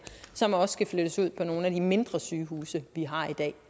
som også skal flyttes ud på nogle af de mindre sygehuse vi har i dag